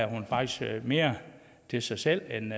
at hun faktisk havde mere til sig selv end